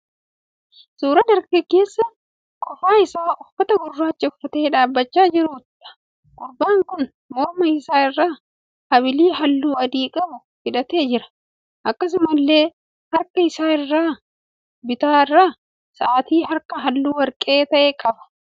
Suuraa dargaggeessa qofaa isaa uffata gurraacha uffatee dhaabbachaa jiruudha. Gurbaan kun morma isaa irraa abilii halluu adii qabu hidhatee jira. Akkasumallee harka isaa isa bitaa irraa sa'aatii harkaa halluu warqee ta'e qaba.